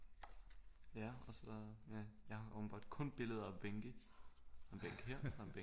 Ja og så ja jeg har åbenbart kun billeder af bænke en bænk her og en